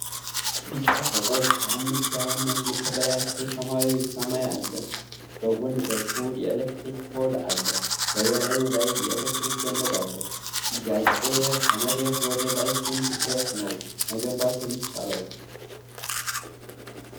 ቢጫ ፎቆች ከአምስት ያላነሱ ከበላያቸው ሰማያዊ ሰማይ አለ ፤ በጎን በኩል የኤሌክትሪክ ፖል አለ በበላዩ ላይ የኤሌክትሪክ ገመድ አለ ፤ ጥያቄዬ :- ከመሬት ወደ ላይ ስንት ድረስ ነው መገንባት የሚቻለው?